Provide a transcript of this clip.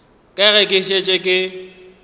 ka ge ke šetše ke